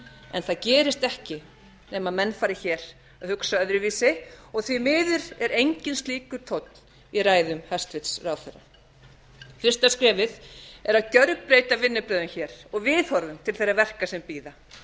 en það gerist ekki nema menn fari hér að hugsa öðruvísi og því miður er enginn slíkur tónn í ræðu hæstvirts ráðherra fyrsta skrefið er að gjörbreyta vinnubrögðum hér og viðhorfum til þeirra verka sem bíða